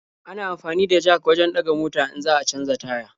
Ana amfani da jak wajen ɗaga mota in za a canja taya.